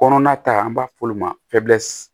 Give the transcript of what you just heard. Kɔnɔna ta an b'a f'olu ma